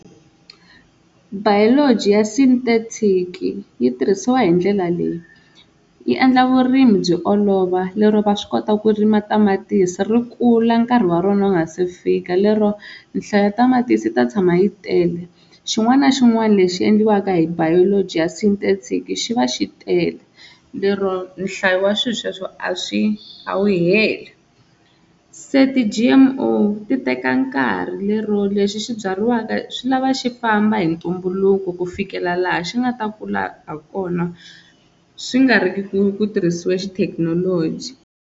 Biology ya synthetic yi tirhisiwa hi ndlela leyi, yi endla vurimi byi olova lero va swi kota ku rima tamatisi ri kula nkarhi wa rona wu nga se fika lero nhlayo ya tamatisi yi ta tshama yi tele. Xin'wana na xin'wana lexi endliwaka hi biology ya synthetic xi va xi tele lero nhlayo wa swi sweswo a swi a wu heli. Se ti-G_M_O ti teka nkarhi lero lexi xi byariwaka swi lava xi famba hi ntumbuluko ku fikela laha xi nga ta kula ha kona swi nga ri ki ku tirhisiwa xithekinoloji.